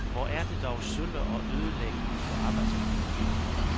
Hvor er det dog sølle og ødelæggende for arbejdsmiljøet.